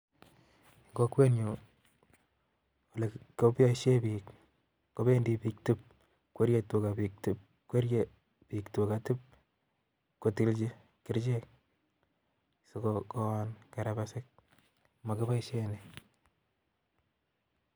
Kokwenyun koboishien biik dip, kobiiten biik tuga dip kotolchii kerichelk sikoon kerbesiik. Mokiboishen eut